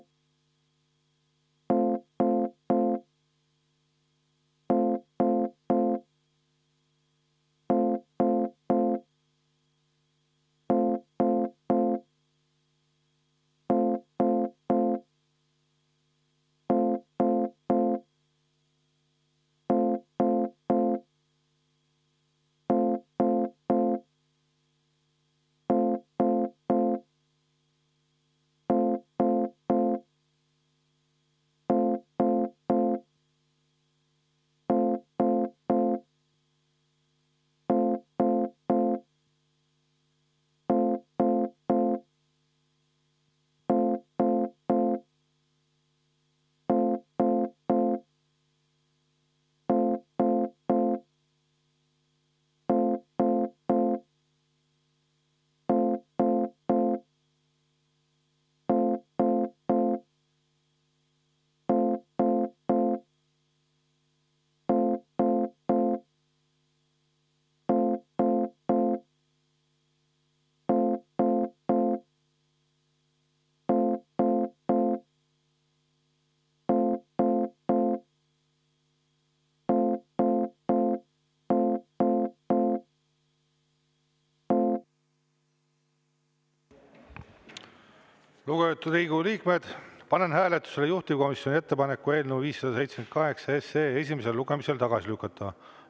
Lugupeetud Riigikogu liikmed, panen hääletusele juhtivkomisjoni ettepaneku eelnõu 578 esimesel lugemisel tagasi lükata.